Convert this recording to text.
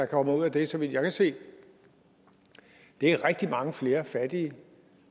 kommer ud af det så vidt jeg kan se er rigtig mange flere fattige